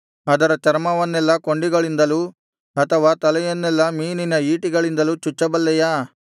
ಅದರ ಚರ್ಮವನ್ನೆಲ್ಲ ಕೊಂಡಿಗಳಿಂದಲೂ ಅಥವಾ ತಲೆಯನ್ನೆಲ್ಲ ಮೀನಿನ ಈಟಿಗಳಿಂದಲೂ ಚುಚ್ಚಬಲ್ಲೆಯಾ